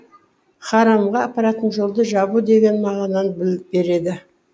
харамға апаратын жолды жабу деген мағынаны береді